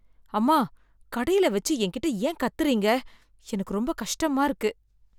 அம்மா! கடையில வச்சு என்கிட்ட ஏன் கத்துறீங்க, எனக்கு ரொம்ப கஷ்டமா இருக்கு.